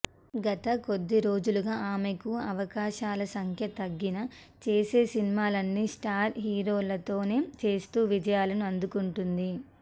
గత కొద్ది రోజులుగా ఆమెకు అవకాశాల సంఖ్య తగ్గినా చేసే సినిమాలన్నీ స్టార్ హీరోలతోనే చేస్తూ విజయాలను అందుకుంటోంది